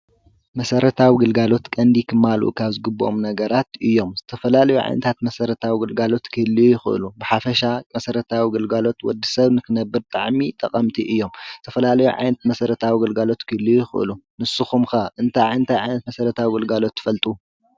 መሰራተዊ ግልጋሎት ቀንዲ ክማልኡ ካብ ዝግበኦም ነገራት እዮም። ዝተፈላለዩ ዓይነታት መሰረታዊ ግልጋሎት ክህልዉ ይክእሉ። ብሓፈሻ መሰራተዊ ግልጋሎት ንወዲ ሰብ ንክነብር መጣዕሚ ጠቀምቲ እዮም። ዝተፈላለዩ ዓይነት መሰረታዊ ግልጋሎት ክህልዉ ይክእሉ ። ንሱኩም ከ እንታይ ዓይነት እንታይ ዓይነት መሰራተዊ ግልጋሎት ትፈልጡ?